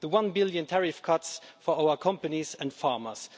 The EUR 1 billion tariff cuts for our companies and farmers.